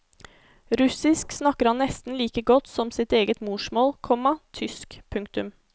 Russisk snakker han nesten like godt som sitt eget morsmål, komma tysk. punktum